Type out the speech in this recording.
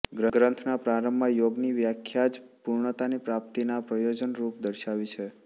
ગ્રંથના પ્રારંભમાં યોગની વ્યાખ્યા જ પૂર્ણતાની પ્રાપ્તિના પ્રયોજનરૂપ દર્શાવી છે